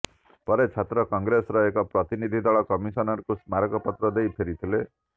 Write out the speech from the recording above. ପରେ ଛାତ୍ର କଂଗ୍ରେସ୍ର ଏକ ପ୍ରତିନିଧି ଦଳ କମିଶନରଙ୍କୁ ସ୍ମାରକପତ୍ର ଦେଇ ଫେରିଥିଲେ